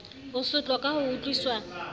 ho sotlwa ka ho utlwiswa